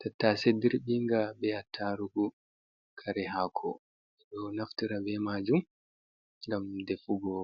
Tattase dirbinga be attarugu kare hako, ɓeɗo naftira be majum ngam defugo